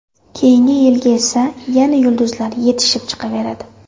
Keyinga yilga esa yana yulduzlar yetishib chiqaveradi.